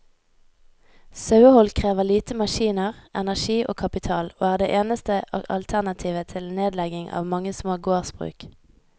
Sauehold krever lite maskiner, energi og kapital, og er det eneste alternativet til nedlegging av mange små gårdsbruk.